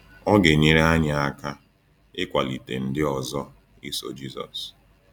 Ọ ga-enyere anyị aka ịkwalite ndị ọzọ iso Jisọs.